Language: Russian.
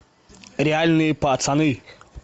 реальные пацаны